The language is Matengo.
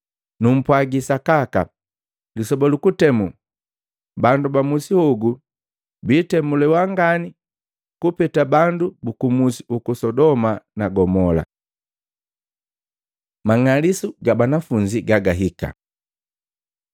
Numpwaagi sakaka, lisoba lu kutemu bandu bamusi hogu biitemuliwa ngani kupeta bandu buku musi uku Sodoma na Gomola. Mang'alisu ga banafunzi gagahika Maluko 13:9-13; Luka 21:12-17